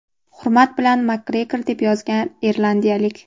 Hurmat bilan, Makgregor, deb yozgan irlandiyalik..